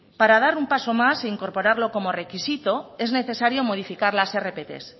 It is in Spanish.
para dar un paso más e incorporarlo como requisito es necesario modificar las rpt